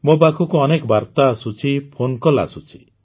ମୋ ପାଖକୁ ଅନେକ ବାର୍ତା ଆସୁଛି ଫୋନ କଲ ଆସୁଛି